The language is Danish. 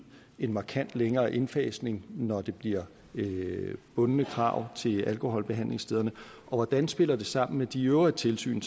en markant længere indfasning når der bliver bundne krav til alkoholbehandlingsstederne og hvordan spiller det sammen med de øvrige tilsyn